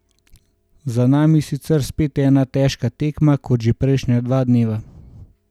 Za nami je sicer spet ena težka tekma kot že prejšnja dva dneva.